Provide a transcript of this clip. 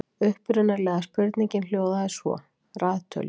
Upprunalega spurningin hljóðaði svo: Raðtölur.